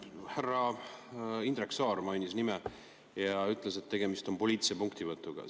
Härra Indrek Saar mainis minu nime ja ütles, et tegemist on poliitilise punktivõtuga.